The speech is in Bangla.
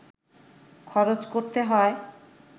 খরচ করতে হয়